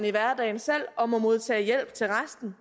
i hverdagen selv og må modtage hjælp til resten